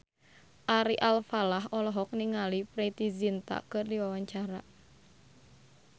Ari Alfalah olohok ningali Preity Zinta keur diwawancara